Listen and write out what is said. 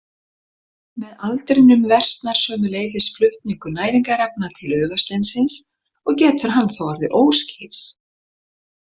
Með aldrinum versnar sömuleiðis flutningur næringarefna til augasteinsins og getur hann þá orðið óskýr.